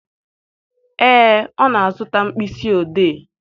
Ee, ọ na-azụta mkpịsị odee.